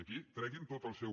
aquí treguin tot el seu